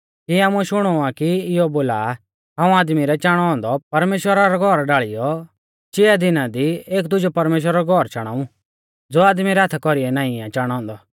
आमुऐ शुणौ आ कि इयौ बोला हाऊं आदमी रै चाणौ औन्दौ परमेश्‍वरा रौ घौर ढाल़ियौ चिआ दिना दी एक दुजौ परमेश्‍वरा रौ घौर चाणाऊ ज़ो आदमी रै हाथा कौरीऐ नाईं आ चाणौ औन्दौ